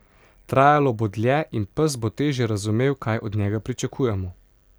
Trajalo bo dlje in pes bo težje razumel, kaj od njega pričakujemo.